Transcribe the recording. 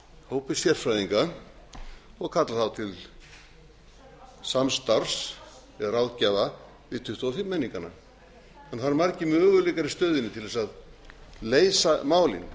hópi sérfræðinga og kalla þá til samstarfs eða ráðgjafar við tuttugu og fimm menningana það eru margir möguleikar í stöðunni til að leysa málin